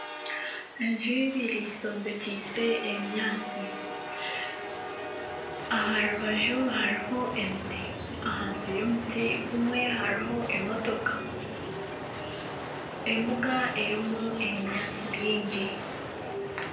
Enju ibiri zombekiise ebinyaatsi aharubaju hariho ebiti. Ahansi y'omuti gumwe hariho emotoka. Embuga erimu ebinyaatsi bingi.